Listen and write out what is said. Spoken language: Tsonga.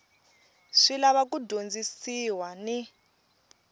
swi lava ku dyondzisiwa ni